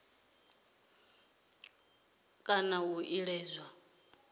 si ṱoḓee kana ḽo iledzwaho